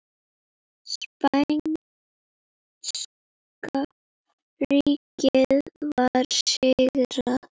Spænska ríkið var sigrað.